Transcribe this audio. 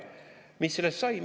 Mis sellest sai?